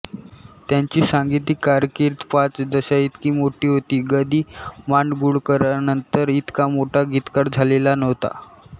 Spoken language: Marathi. त्यांची सांगीतिक कारकीर्द पाच दशकांइतकी मोठी होती ग दि माडगुळकरांनंतर इतका मोठा गीतकार झालेला नव्हता